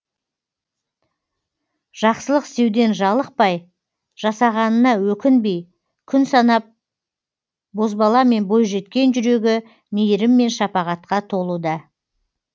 жақсылық істеуден жалықпай жасағанына өкінбей күн санап бозбала мен бойжеткен жүрегі мейірім мен шапағатқа толуда